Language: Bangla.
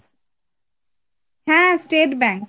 হ্যাঁ state bank,